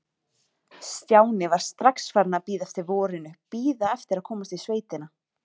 Stjáni var strax farinn að bíða eftir vorinu, bíða eftir að komast í sveitina.